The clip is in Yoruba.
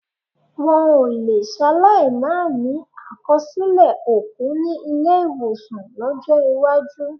Wọn ò lè ṣaláì máa ní àkọsílẹ̀ òkú ní ilé-ìwọ̀sàn lọ́jọ́ iwájú.